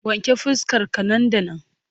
Wanke fuskar ka nan da nan!